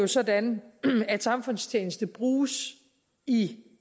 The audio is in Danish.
sådan at samfundstjeneste bruges i